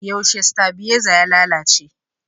Yaushe stabiaiza ya lalace?